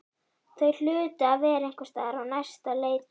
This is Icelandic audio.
Þau hlutu að vera einhvers staðar á næsta leiti.